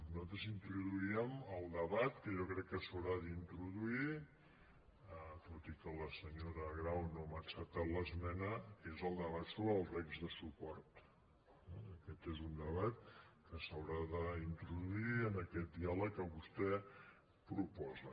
nosaltres introduíem el debat que jo crec que s’haurà d’introduir tot i que la senyora grau no m’ha acceptat l’esmena que és el debat sobre els regs de suport eh aquest és un debat que s’haurà d’introduir en aquest diàleg que vostè proposa